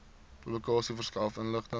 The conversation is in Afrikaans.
publikasie verskaf inligting